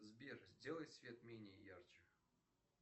сбер сделай свет менее ярче